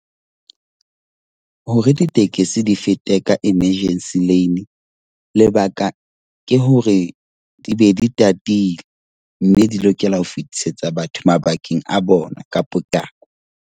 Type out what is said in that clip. Hore ditekesi di fete ka emergency lane, lebaka ke hore di be di tatile mme di lokela ho fetisetsa batho mabakeng a bona ka potlako.